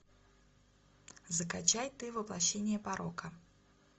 закачай ты воплощение порока